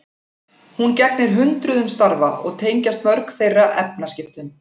Hún gegnir hundruðum starfa og tengjast mörg þeirra efnaskiptum.